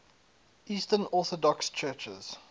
eastern orthodox churches